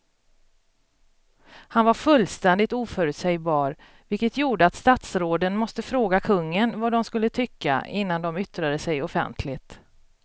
Han var fullständigt oförutsägbar vilket gjorde att statsråden måste fråga kungen vad de skulle tycka innan de yttrade sig offentligt.